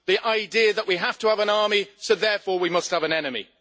The idea that we have to have an army, so therefore we must have an enemy.